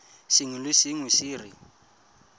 sengwe le sengwe se re